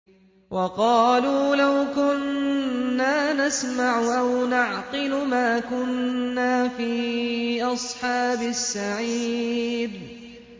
وَقَالُوا لَوْ كُنَّا نَسْمَعُ أَوْ نَعْقِلُ مَا كُنَّا فِي أَصْحَابِ السَّعِيرِ